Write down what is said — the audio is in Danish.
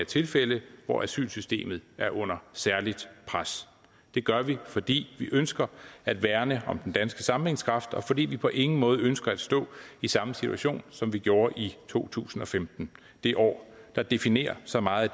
tilfælde hvor asylsystemet er under særligt pres det gør vi fordi vi ønsker at værne om den danske sammenhængskraft og fordi vi på ingen måde ønsker at stå i samme situation som vi gjorde i to tusind og femten det år der definerer så meget